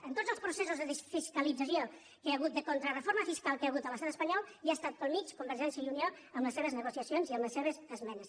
en tots els processos de fiscalització que hi ha hagut de contrareforma fiscal que hi ha hagut a l’estat espanyol hi ha estat pel mig convergència i unió amb les seves negociacions i amb les seves esmenes